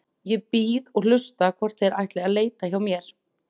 Ég bíð og hlusta hvort þeir ætli að leita hjá mér.